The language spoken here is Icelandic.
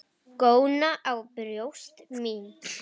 Góna á brjóst mín.